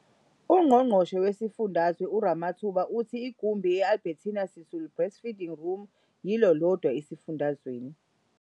UNgqongqoshe Wesifundazwe uRamathuba uthe igumbi i-Albertina Sisulu Breastfeeding Room yilo lodwa esifundazweni.